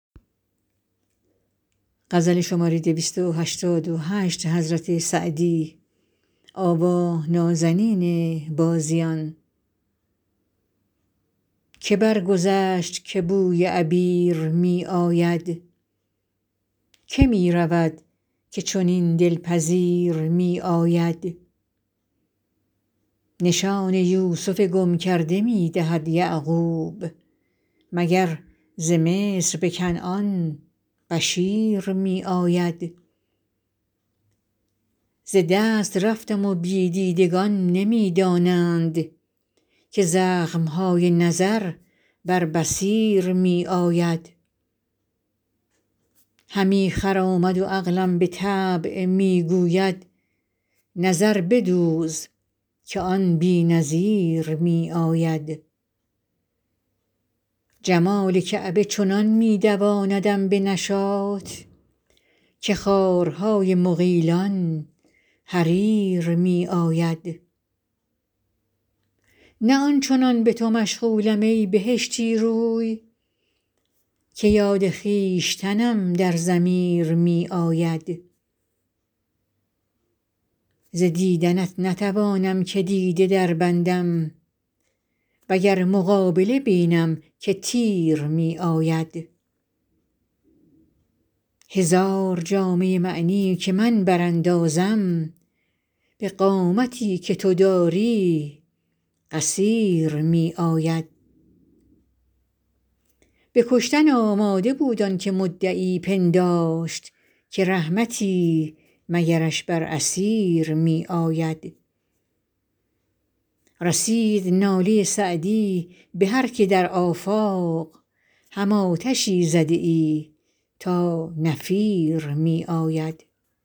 که برگذشت که بوی عبیر می آید که می رود که چنین دل پذیر می آید نشان یوسف گم کرده می دهد یعقوب مگر ز مصر به کنعان بشیر می آید ز دست رفتم و بی دیدگان نمی دانند که زخم های نظر بر بصیر می آید همی خرامد و عقلم به طبع می گوید نظر بدوز که آن بی نظیر می آید جمال کعبه چنان می دواندم به نشاط که خارهای مغیلان حریر می آید نه آن چنان به تو مشغولم ای بهشتی رو که یاد خویشتنم در ضمیر می آید ز دیدنت نتوانم که دیده دربندم و گر مقابله بینم که تیر می آید هزار جامه معنی که من براندازم به قامتی که تو داری قصیر می آید به کشتن آمده بود آن که مدعی پنداشت که رحمتی مگرش بر اسیر می آید رسید ناله سعدی به هر که در آفاق هم آتشی زده ای تا نفیر می آید